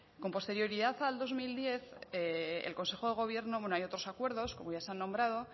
con posterioridad al dos mil diez hay otros acuerdos como ya se han nombrado